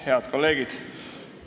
Head kolleegid!